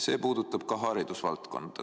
See puudutab ka haridusvaldkonda.